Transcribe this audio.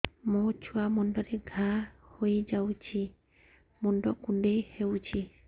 ମୋ ଛୁଆ ମୁଣ୍ଡରେ ଘାଆ ହୋଇଯାଇଛି ମୁଣ୍ଡ କୁଣ୍ଡେଇ ହେଉଛି